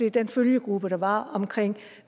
i den følgegruppe der var omkring